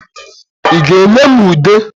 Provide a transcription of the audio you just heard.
Ị ga-enye m ude.